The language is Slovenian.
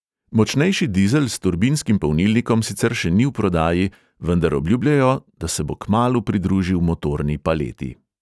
Močnejši dizel s turbinskim polnilnikom sicer še ni v prodaji, vendar obljubljajo, da se bo kmalu pridružil motorni paleti.